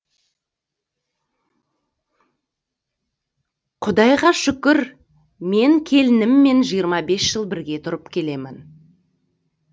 құдайға шүкір мен келініммен жиырма бес жыл бірге тұрып келемін